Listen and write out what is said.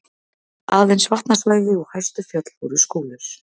Aðeins vatnasvæði og hæstu fjöll voru skóglaus.